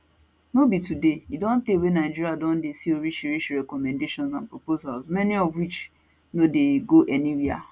no be today e don tey wey nigeria don dey see orishirishi recommendations and proposal many of which no dey go anywia